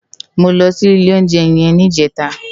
Mó lò si ilé óunjè yèn nijètá